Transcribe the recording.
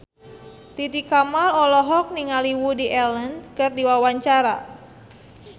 Titi Kamal olohok ningali Woody Allen keur diwawancara